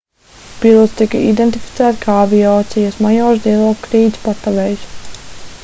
pilots tika identificēts kā aviācijas majors dilokrits patavejs